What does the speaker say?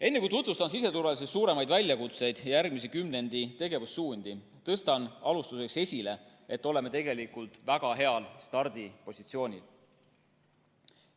Enne kui tutvustan siseturvalisuse suuremaid väljakutseid ja järgmise kümnendi tegevussuundi, tõstan alustuseks esile, et oleme tegelikult väga heal stardipositsioonil.